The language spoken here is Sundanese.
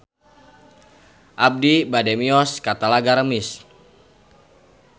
Abi bade mios ka Talaga Remis